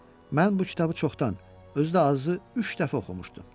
Mən bu kitabı çoxdan, özü də azı üç dəfə oxumuşdum.